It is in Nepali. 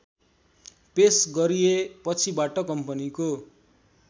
पेश गरिएपछिबाट कम्पनीको